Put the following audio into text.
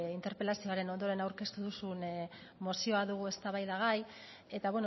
interpelazioaren ondoren aurkeztu duzuen mozioa dugu eztabaidagai eta